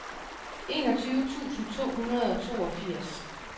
enogtyve tusind to hundrede og toogfirs